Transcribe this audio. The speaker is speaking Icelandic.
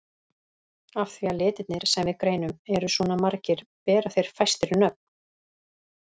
Af því að litirnir sem við greinum eru svona margir bera þeir fæstir nöfn.